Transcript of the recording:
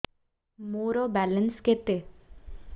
ମୋର ବାଲାନ୍ସ କେତେ